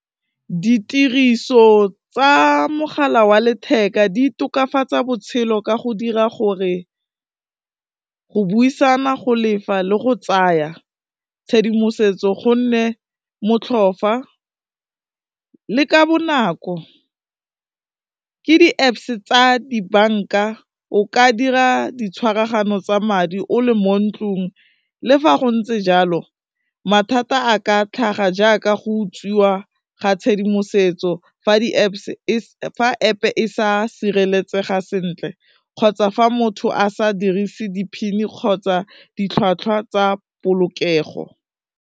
Ditiriso tsa mogala wa letheka di tokafatsa botshelo ka go dira gore go buisana, go lefa le go tsaya tshedimosetso, go nne motlhofu le ka bonako, ke di-Apps tsa dibanka, o ka dira di tshwaragano tsa madi o le mo ntlung, le fa go ntse jalo mathata a ka tlhaga jaaka go utswiwa ga tshedimosetso fa App e sa sireletsega sentle kgotsa fa motho a sa dirise di-PIN kgotsa ditlhwatlhwa tsa polokego.